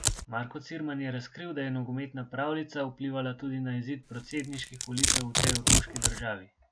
Marko Cirman je razkril, da je nogometna pravljica vplivala tudi na izid predsedniških volitev v tej otoški državi.